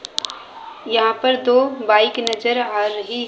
यहां पर दो बाइक नजर आ रही--